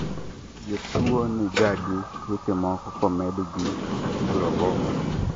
jotuwo nigagi tuoche moko komed gi coloboma